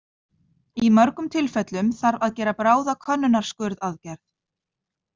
Í mörgum tilfellum þarf að gera bráða könnunarskurðaðgerð.